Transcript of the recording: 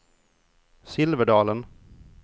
Silverdalen